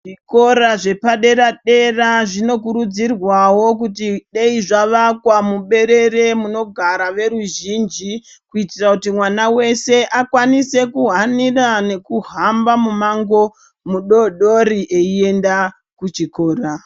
Zvikora zvepadera dera zvinokurudzirwawo kuti dei zvavakwa mu berere munogara veruzhinji kuitira kuti mwana weshe akwanise kuhanira nekuhamba mumango mudodori eienda kuchikora.